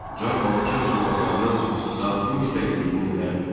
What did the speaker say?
Çar Balakən camaatlarının daxili müstəqilliyini ləğv etdi.